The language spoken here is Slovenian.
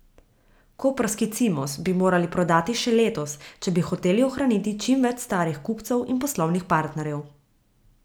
Koprski Cimos bi morali prodati še letos, če bi hoteli ohraniti čim več starih kupcev in poslovnih partnerjev.